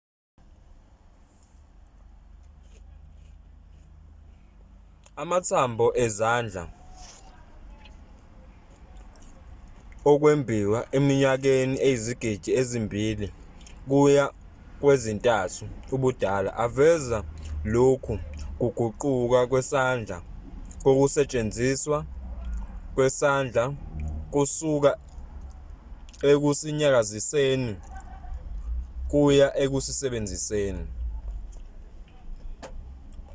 amathambo esandla okwembiwa eminyakeni eyizigidi ezimbili kuya kwezintathu ubudala aveza lokhu kuguquka kwesandla kokusetshenziswa kwesandla kusuka ekusinyakaziseni kuya ekusisebenziseni